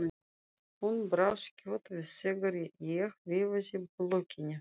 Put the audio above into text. Hún brá skjótt við þegar ég veifaði blokkinni.